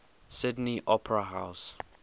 sydney opera house